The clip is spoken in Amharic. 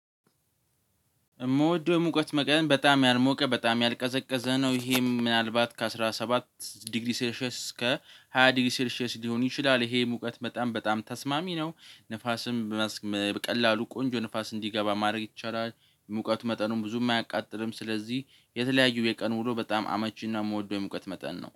የምወደው የሙቀት መጠን በጣም ያልሞቀ በጣም ያልቀዘቀዘ ነው። ይሄም ምናልባት ከአሥራ ሰባት ዲግሪ ሴልሼስ እስከ ሃያ ዲግሪ ሴልሼስ ሊሆን ይችላል። ይሄ የሙቀት በጣም በጣም ተስማሚ ነው። ንፋስም በቀላሉ ቆንጆ ንፋስ እንዲገባ ማድረግ ይቻላል። ሙቀት መጠኑን ብዙም አያቃጥልም። ስለዚህ የተለያዩ የቀን ውሎ በጣም አመቺና የምወደው የሙቀት መጠን ነው